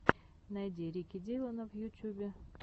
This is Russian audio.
найди рики диллона в ютюбе